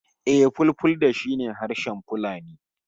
Eh, Fulfulde shi ne harshen Fulani